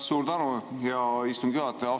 Suur tänu, hea istungi juhataja!